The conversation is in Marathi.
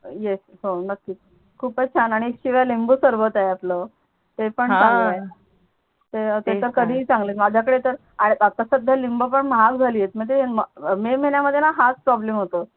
खूपच छान आणि एक चीरा लिंबू सहर्बत आहे आपल ते पण चांगल आहे आह ते तर कधी ही चांगल माझ्या कडे तर आहे आता सध्या लिंब पण महाग झाली आहे ते मे महिन्या मध्ये हाच प्रॉब्लेम होतो